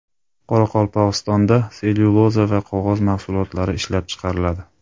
Qoraqalpog‘istonda sellyuloza va qog‘oz mahsulotlari ishlab chiqariladi.